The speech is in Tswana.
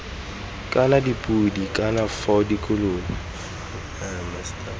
kana dipodi kana iv dikolobe